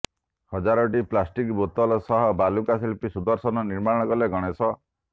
ହଜାରଟି plastic ବୋତଲ ସହ ବାଲୁକା ଶିଳ୍ପୀ ସୁଦର୍ଶନ ନିର୍ମାଣ କଲେ ଗଣେଶ